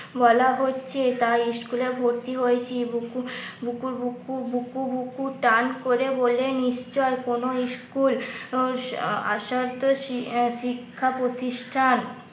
বলা হচ্ছে তাই স্কুলে ভর্তি হয়েছি বুকু বুকু বুকু বুকু বুকু টান করে বলে নিশ্চয় কোনো ইস্কুল আসার তো শিক্ষা প্রতিষ্ঠান